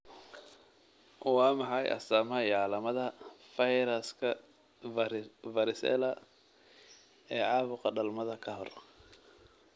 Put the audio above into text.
Waa maxay astamaha iyo calaamadaha fayraska Varicella ee caabuqa dhalmada ka hor?